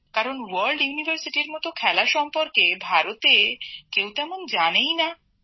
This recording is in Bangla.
কারণ আন্তর্জাতিক বিশ্ববিদ্যালয় ক্রীড়া প্রতিযোগিতার মত খেলা সম্পর্কে ভারতে কেউ তেমন জানেই না